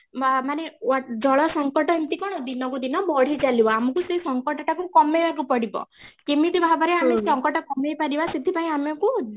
ବା ମାନେ ଜଳ ସଙ୍କଟ କ'ଣ ଦିନକୁ ଦିନ ବଢି ଚାଲିବ ଆମକୁ ସେଇ ସଙ୍କଟ ଟାକୁ କମେଇବାକୁପଡିବ କେମିତି ଭାବରେ ଆମେ ସଙ୍କଟ କମେଇ ପାରିବା ସେଥିପାଇଁ ଆମକୁ